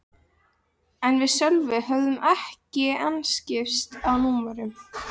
En við Sölvi höfðum ekki enn skipst á númerum.